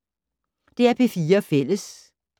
DR P4 Fælles